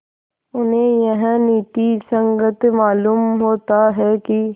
उन्हें यह नीति संगत मालूम होता है कि